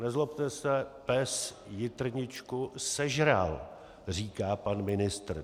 Nezlobte se, pes jitrničku sežral, říká pan ministr.